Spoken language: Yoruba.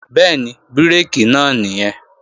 Bẹ́ẹ̀ni, bírèkì náà nìyẹn